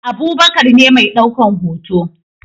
Abubakar ne mai daukan hoto